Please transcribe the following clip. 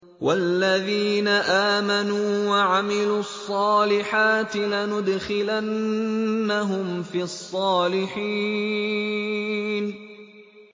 وَالَّذِينَ آمَنُوا وَعَمِلُوا الصَّالِحَاتِ لَنُدْخِلَنَّهُمْ فِي الصَّالِحِينَ